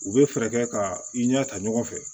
U bɛ fɛɛrɛ kɛ ka i ɲɛ ta ɲɔgɔn fɛ